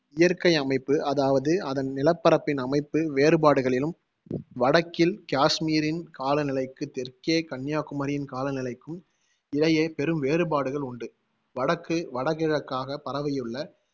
இயற்கை அமைப்பு அதாவது அதன் நிலப்பரப்பின் அமைப்பு வேறுபாடுகளிலும், வடக்கில், காஷ்மீரின் காலநிலைக்கு தெற்கே கன்னியாகுமரியின் காலநிலைக்கும் இடையே பெரும் வேறுபாடுகள் உண்டு. வடக்கு வடகிழக்காகப் பரவியுள்ள